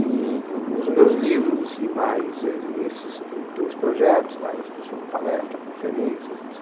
E os meus livros e mais esses dois projetos, mais uma palestra, conferências, etc.